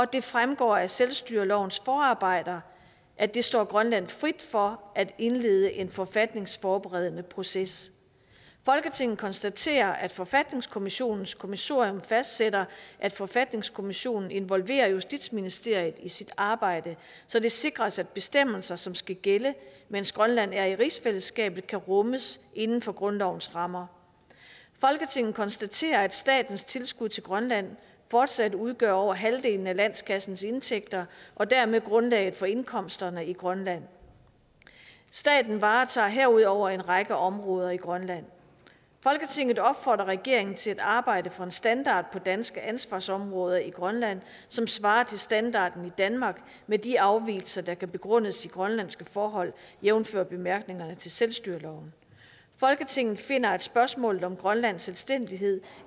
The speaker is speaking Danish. det fremgår af selvstyrelovens forarbejder at det står grønland frit for at indlede en forfatningsforberedende proces folketinget konstaterer at forfatningskommissionens kommissorium fastsætter at forfatningskommissionen involverer justitsministeriet i sit arbejde så det sikres at bestemmelser som skal gælde mens grønland er i rigsfællesskabet kan rummes inden for grundlovens rammer folketinget konstaterer at statens tilskud til grønland fortsat udgør over halvdelen af landskassens indtægter og dermed grundlaget for indkomsterne i grønland staten varetager herudover en række områder i grønland folketinget opfordrer regeringen til at arbejde for en standard på danske ansvarsområder i grønland som svarer til standarden i danmark med de afvigelser der kan begrundes i grønlandske forhold jævnfør bemærkningerne til selvstyreloven folketinget finder at spørgsmålet om grønlands selvstændighed